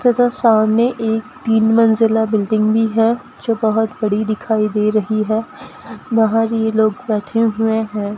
सामने एक तीन मंजिला बिल्डिंग भी है जो बहुत बड़ी दिखाई दे रही है बाहर यह लोग बैठे हुए हैं।